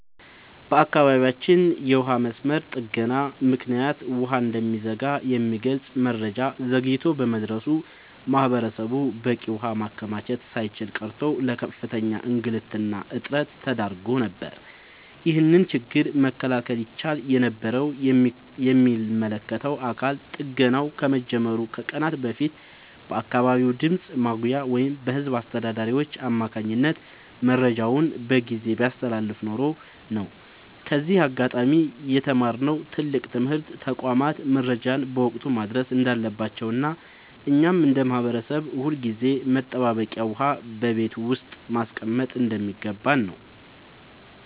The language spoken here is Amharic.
በአካባቢያችን የውሃ መስመር ጥገና ምክንያት ውሃ እንደሚዘጋ የሚገልጽ መረጃ ዘግይቶ በመድረሱ ማህበረሰቡ በቂ ውሃ ማከማቸት ሳይችል ቀርቶ ለከፍተኛ እንግልትና እጥረት ተዳርጎ ነበር። ይህንን ችግር መከላከል ይቻል የነበረው የሚመለከተው አካል ጥገናው ከመጀመሩ ከቀናት በፊት በአካባቢው ድምፅ ማጉያ ወይም በህዝብ አስተዳዳሪዎች አማካኝነት መረጃውን በጊዜ ቢያስተላልፍ ኖሮ ነው። ከዚህ አጋጣሚ የተማርነው ትልቅ ትምህርት ተቋማት መረጃን በወቅቱ ማድረስ እንዳለባቸውና እኛም እንደ ማህበረሰብ ሁልጊዜም መጠባበቂያ ውሃ በቤት ውስጥ ማስቀመጥ እንደሚገባን ነው።